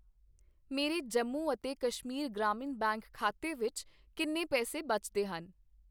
ਮੇਰੇ ਜੰਮੂ ਅਤੇ ਕਸ਼ਮੀਰ ਗ੍ਰਾਮੀਣ ਬੈਂਕ ਖਾਤੇ ਵਿੱਚ ਕਿੰਨੇ ਪੈਸੇ ਬਚਦੇ ਹਨ?